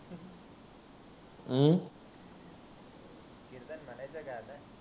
कीर्तन म्हणायच का आता